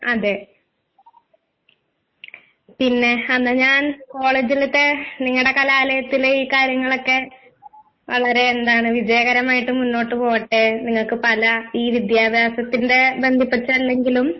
അതെ. പിന്നെ അന്നാ ഞാൻ കോളേജിലത്തെ നിങ്ങടെ കലാലയത്തിലെ ഈ കാര്യങ്ങളൊക്കെ വളരെ എന്താണ് വിജയകരമായിട്ട് മുന്നോട്ട് പോവട്ടെ നിങ്ങക്ക് പല ഈ വിദ്യാഭാസത്തിന്റെ ബന്ധപ്പെട്ട് എന്തെങ്കിലും